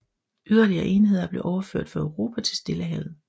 Yderligere enheder blev overført fra Europa til Stillehavet